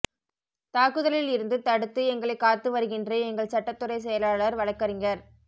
தாக்குதலில் இருந்து தடுத்து எங்களைக் காத்து வருகின்ற எங்கள் சட்டத்துறைச் செயலாளர் வழக்கறிஞர்